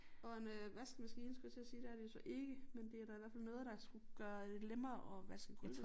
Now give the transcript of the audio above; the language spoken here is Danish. Og en øh vaskemaskine skulle jeg til at sige det er det jo så ikke men det er da i hvert fald noget der skulle gøre det lemmere at vaske gulv